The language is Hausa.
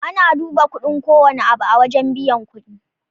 Ana duba kudin kowanne abu a wajan buyan kuɗi